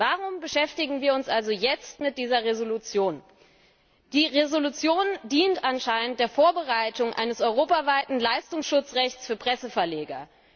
Warum beschäftigen wir uns also jetzt mit dieser Entschließung? Die Entschließung dient anscheinend der Vorbereitung eines europaweiten Leistungsschutzrechts für Presseverleger.